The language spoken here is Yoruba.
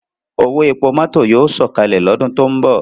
Owo epo mọto yoo sọkalẹ lọdun to nbọ